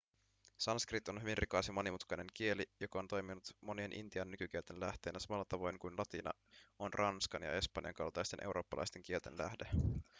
sanskrit on hyvin rikas ja monimutkainen kieli joka on toiminut monien intian nykykielten lähteenä samalla tavoin kuin latina on ranskan ja espanjan kaltaisten eurooppalaisten kielten lähde